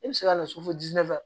E bɛ se ka na so ɲɛfɛ